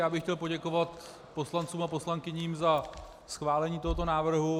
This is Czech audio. Já bych chtěl poděkovat poslancům a poslankyním za schválení tohoto návrhu.